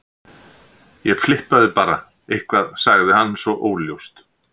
Ég flippaði bara eitthvað sagði hann svo óljóst.